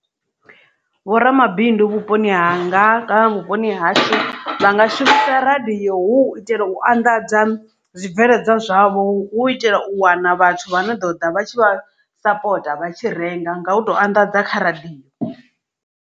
Vho ramabindu vhuponi hanga kana vhuponi hashu vha nga shumisa radio hu u itela u anḓadza zwibveledzwa zwavho hu u itela u wana vhathu vha no ḓoḓa vha tshi vha sapota vha tshi renga nga u to anḓadza kha radio.